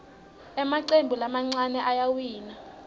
emacembu lamancane ayawina